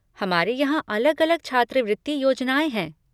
हमारे यहाँ अलग अलग छात्रवृत्ति योजनाएँ हैं।